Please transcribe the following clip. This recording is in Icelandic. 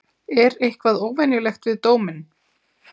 Er eitthvað óvenjulegt við dóminn?